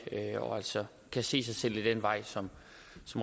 og altså kan se sig selv ad den vej som